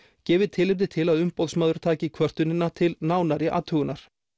gefi tilefni til að Umboðsmaður taki kvörtunina til nánari athugunar